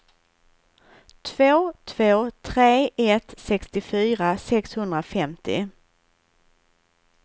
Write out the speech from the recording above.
två två tre ett sextiofyra sexhundrafemtio